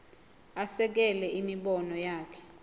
asekele imibono yakhe